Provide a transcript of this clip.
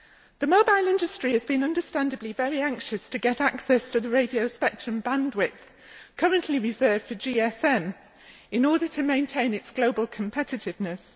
The mobile telephony industry has been understandably very anxious to get access to the radio spectrum bandwidth currently reserved for GSM, in order to maintain its global competitiveness.